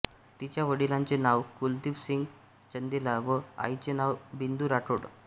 तिच्या वडिलांचे नाव कुलदीप सिंग चंदेला व आईचे नाव बिंदू राठोड